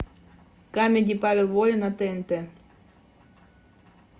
камеди павел воля на тнт